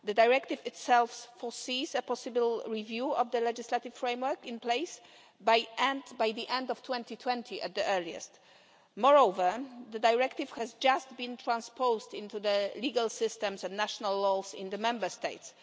The directive itself foresees a possible review of the legislative framework in place by the end of 2020 at the earliest. Moreover, the directive has just been transposed into the legal systems and national laws in the Member States.